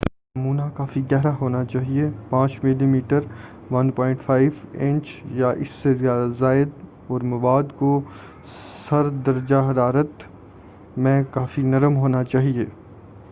نمونہ کافی گہرا ہونا چاہئے، 5 ملی میٹر 1/5 انچ یا اس سے زائد، اور مواد کو سرد درجہ حرارت میں کافی نرم ہونا چاہئے۔